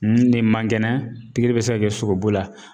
Nin de man kɛnɛ pikiri bɛ se ka kɛ sogobu la.